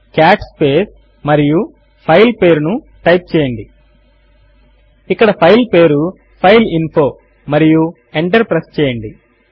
cot space మరియు file పేరు ను టైప్ చేయండి ఇక్కడ ఫైల్ పేరు ఫైల్ఇన్ఫో మరియు ఎంటర్ ప్రెస్ చేయండి